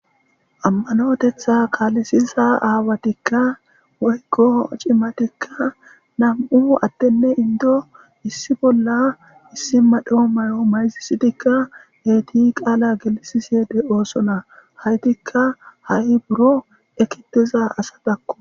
Ammanotetha kaalisiza aawatikka woykko cimatikka nam7u attenne indo issi bolla issi madho mayo mayzisitikka geeti qaala gelisisiede oosona haytikka ha7i buro ekitiza asa dakko.